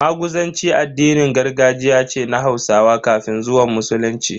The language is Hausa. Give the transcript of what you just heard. Maguzanci addinin gargajiya ce na Hausawa kafin zuwan Musulunci.